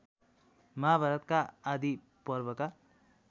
महाभारतका आदि पर्वका